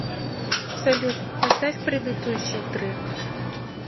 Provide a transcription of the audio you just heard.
салют поставь предыдущий трек